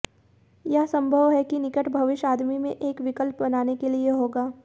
यह संभव है कि निकट भविष्य आदमी में एक विकल्प बनाने के लिए होगा